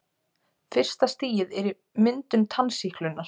Fyrsta stigið er myndun tannsýklunnar.